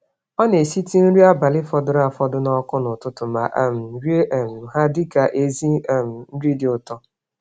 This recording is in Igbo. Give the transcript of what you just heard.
Ọna esitụ nri abalị fọdụrụ afọdụ nọkụ n'ụtụtụ, ma um rie um ha dịka ezi um nri dị ụtọ